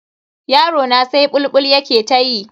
Yarona sai bulbul yake ta yi.